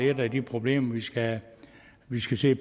er et af de problemer vi skal vi skal se